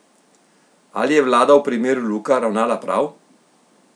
Ali je vlada v primeru Luka ravnala prav?